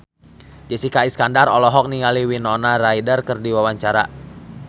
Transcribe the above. Jessica Iskandar olohok ningali Winona Ryder keur diwawancara